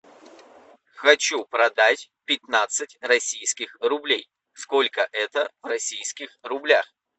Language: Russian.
хочу продать пятнадцать российских рублей сколько это в российских рублях